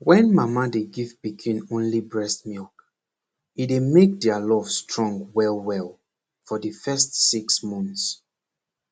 wen mama dey give pikin only breast milk e dey make der love strong well well for de first six months